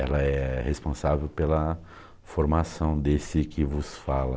Ela é responsável pela formação desse que vos fala.